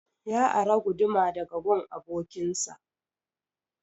Ya ara guduma daga gun abokin sa